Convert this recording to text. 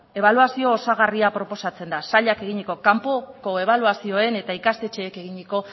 ebaluazioa osagarria proposatzen da sailak eginiko kanpoko ebaluazioen eta ikastetxeek eginiko